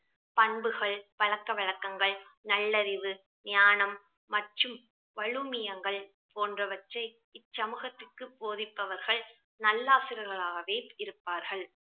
பண்புகள் பழக்க வழக்கங்கள் நல்லறிவு ஞானம் மற்றும் வலுமியங்கள் போன்றவற்றை இச்சமூகத்திற்கு போதிப்பவர்கள் நல்லாசிரியர்களாகவே இருப்பார்கள்